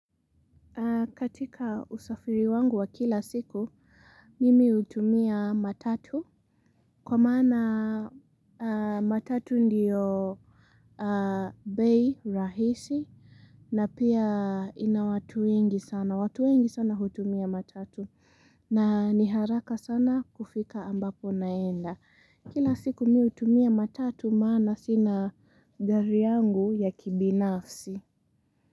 Katika usafiri wangu wa kila siku mimi hutumia matatu kwa maana matatu ndio bei rahisi na pia ina watu wengi sana. Watu wengi sana hutumia matatu na niharaka sana kufika ambapo unaenda. Kila siku mimi hutumia matatu maana sina gari yangu ya kibinafsi.